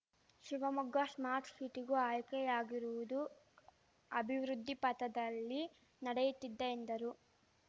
Shivamogga smart ಶಿಟಿಗೂ ಆಯ್ಕೆಯಾಗಿರುವುದು ಅಭಿವೃದ್ಧಿ ಪಥದಲ್ಲಿ ನಡೆಯುತ್ತಿದೆ ಎಂದರು